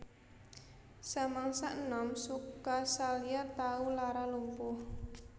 Samangsa enom Sukasalya tau lara lumpuh